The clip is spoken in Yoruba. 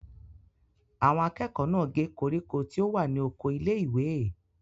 Àwọn akẹ́kọ̀ọ́ náà gé koríko tí ó wà ní oko ilé-ìwé?